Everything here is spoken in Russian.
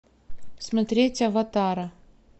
смотреть аватара